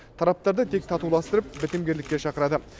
тараптарды тек татуластырып бітімгерлікке шақырады